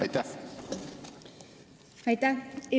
Aitäh!